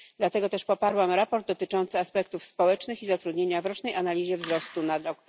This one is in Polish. Dlatego też poparłam sprawozdanie dotyczące aspektów społecznych i zatrudnienia w rocznej analizie wzrostu na rok